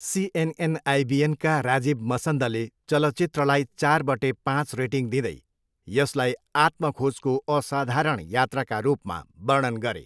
CNN आइबिएनका राजीव मसन्दले चलचित्रलाई चारबटे पाँच रेटिङ दिँदै यसलाई आत्म खोजको असाधारण यात्राका रूपमा वर्णन गरे।